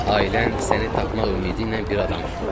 Ailən səni tapmaq ümidi ilə bir adam tutub.